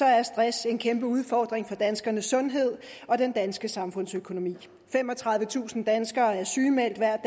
er stress en kæmpe udfordring for danskernes sundhed og den danske samfundsøkonomi femogtredivetusind danskere er sygemeldt hver